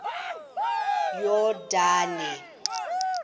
yordane